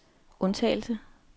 undtagelse